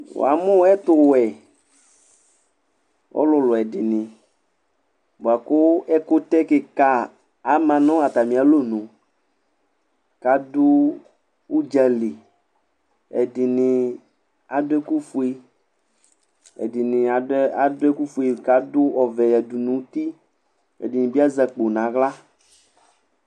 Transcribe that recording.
Wa mu ɛtuwɛ ɔlulu ɛdini, buaku ɛkutɛ kika ama nu atami alɔnu, ka ɖu uɖzàli Ɛdini aɖu ɛku fue, ɛdini aɖuɛ aɖuɛ ɛku fue kadu ɔʋɛ yadu nu ũtí Ɛdini bi azɛ akpò nu aɣla